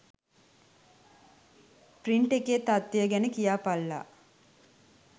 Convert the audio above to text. Print එකේ තත්ත්වය ගැන කියාපල්ලා.